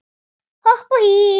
Hopp og hí